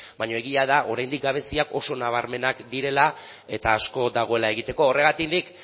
baina egia da oraindik gabeziak oso nabarmenak direla eta asko dagoela egiteko horregatik nik